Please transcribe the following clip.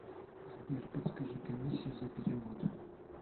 сбер подскажи комиссию за перевод